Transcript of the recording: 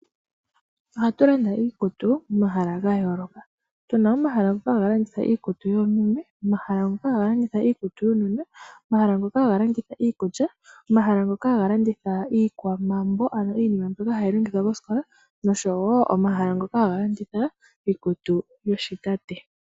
Ohatu landa iikutu momahala ga yooloka. Otu na omahala ngoka haga landitha iikutu yoomeme, omahala ngoka haga landitha iikutu yuunona, omahala ngoka haga kanditha iikulya, omahala ngoka haga landitha iikwamambo, ano iinima mbyoka hayi longithwa kositola noshowo iikutu yoshitate.